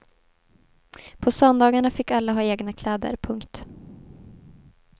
På söndagarna fick alla ha egna kläder. punkt